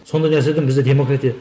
сондай нәрседен бізде демократия